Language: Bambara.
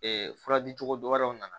fura di cogodɔ wɛrɛw nana